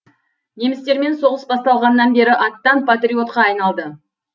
немістермен соғыс басталғаннан бері аттан патриотқа айналды